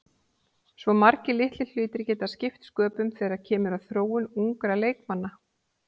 Svo margir litlir hlutir geta skipt sköpum þegar kemur að þróun ungra leikmanna.